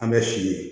An bɛ si ye